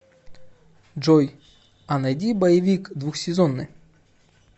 джой а найди боевик двухсезонный